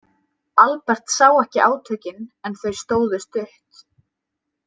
Albert sá ekki átökin en þau stóðu stutt.